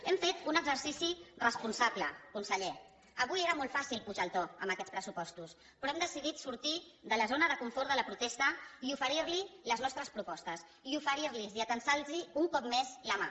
hem fet un exercici responsable conseller avui era molt fàcil pujar el to amb aquests pressupostos però hem decidit sortir de la zona de confort de la protesta i oferir li les nostres propostes i oferir los i atansar los un cop més la mà